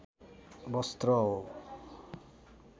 वस्त्र हो